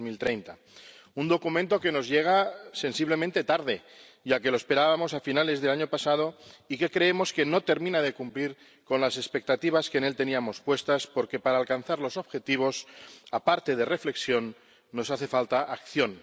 2030. Un documento que nos llega sensiblemente tarde, ya que lo esperábamos a finales del año pasado y que creemos no termina de cumplir las expectativas que en él teníamos puestas porque, para alcanzar los objetivos, aparte de reflexión, nos hace falta acción.